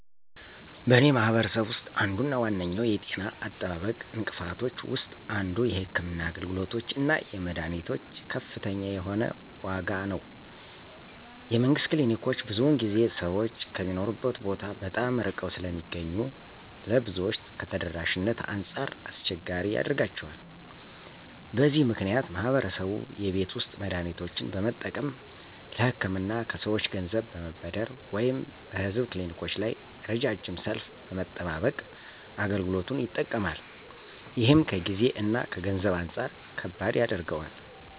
በእኔ ማህበረሰብ ውስጥ አንዱ እና ዋነኛው የጤና አጠባበቅ እንቅፋቶች ውስጥ አንዱ የሕክምና አገልግሎቶች እና የመድኃኒቶች ከፍተኛ የሆነ ዋጋ ነው። የመንግስት ክሊኒኮች ብዙውን ጊዜ ሰዎች ከሚኖሩበት ቦታ በጣም ርቀው ስለሚገኙ ለብዙዎች ከተደራሽነት አንጻር አስቸጋሪ ያደርጋቸዋል። በዚህ ምክንያት ማህበረሰቡ የቤት ውስጥ መድሃኒቶችን በመጠቀም፣ ለህክምና ከሰወች ገንዘብ በመበደር ወይም በህዝብ ክሊኒኮች ላይ ረዣዥም ሰልፍ በመጠባበቅ አገልግሎቱ ይጠቀማል። ይህም ከጊዜ እና ከገንዘብ አንጻር ከባድ ያደርገዋል።